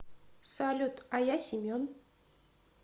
салют а я семен